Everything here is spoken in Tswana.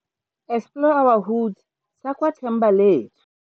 Explore our Hood, sa kwa Thembalethu.